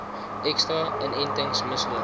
ekstra inentings misloop